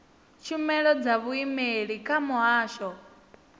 tshumelo dza vhuimeli kha muhasho